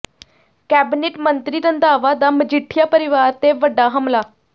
cabinet ਮੰਤਰੀ ਰੰਧਾਵਾ ਦਾ ਮਜੀਠੀਆ ਪਰਿਵਾਰ ਤੇ ਵੱਡਾ ਹਮਲਾ